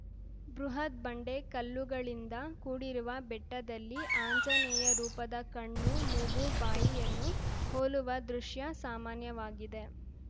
ಬೃಹತ್‌ ಬಂಡೆ ಕಲ್ಲುಗಳಿಂದ ಕೂಡಿರುವ ಬೆಟ್ಟದಲ್ಲಿ ಆಂಜನೇಯ ರೂಪದ ಕಣ್ಣು ಮೂಗು ಬಾಯಿಯನ್ನು ಹೋಲುವ ದೃಶ್ಯ ಸಾಮಾನ್ಯವಾಗಿದೆ